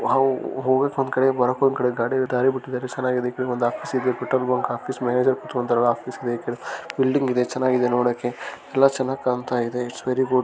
ಇದೊಂದು petrol bank ಚಿಕ್ size petrol bank ಹೋಗೋಕ್ಕ್ ಒಂದ್ಕಡೆ ಬರಾಕ್ ಒಂದ್ಕಡೆ ದಾರೀ ಬಿಟ್ಟಿದಾರೆ